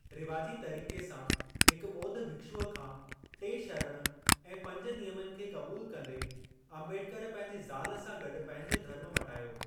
रिवाजी तरीक़े सां हिक ॿोध भिक्षुअ खां टे शरण ऐं पंज नियमनि खे क़बूल कंदे, अम्बेडकर पंहिंजी ज़ाल सां गॾु पंहिंजो धर्म मटायो।